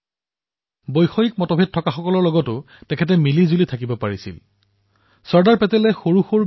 তেওঁ সেইসকল লোকৰ সৈতেও সামঞ্জস্য ৰাখি চলিছিল যাৰ সৈতে তেওঁৰ চিন্তাধাৰাৰ পাৰ্থক্যতা আছিল